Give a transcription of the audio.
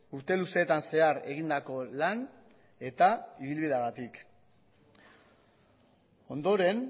urte luzeetan zehar egindako lan eta ibilbideagatik ondoren